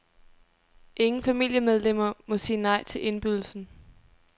Ingen familiemedlemmer må sige nej til indbydelsen.